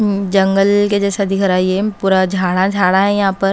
उम्म जंगल के जैसा दिख रहा है ये पूरा झाड़ा झाड़ा है यहां पर।